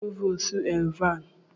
Onye bụ Provoostu Alvan?